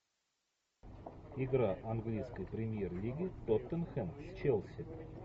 игра английской премьер лиги тоттенхэм с челси